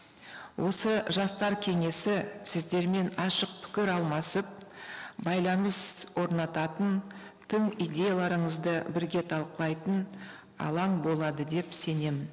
осы жастар кеңесі сіздермен ашық пікір алмасып байланыс орнататын тым идеяларыңызды бірге талқылайтын алаң болады деп сенемін